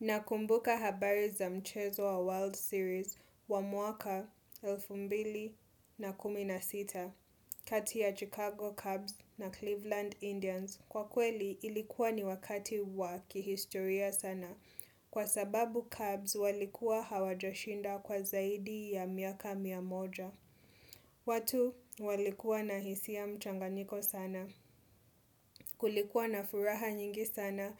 Nakumbuka habari za mchezo wa World Series wa mwaka, elfu mbili na kumi na sita, kati ya Chicago Cubs na Cleveland Indians. Kwa kweli, ilikuwa ni wakati wa kihistoria sana. Kwa sababu Cubs walikuwa hawajashinda kwa zaidi ya miaka miamoja. Watu walikuwa na hisia mchanganyiko sana. Kulikuwa na furaha nyingi sana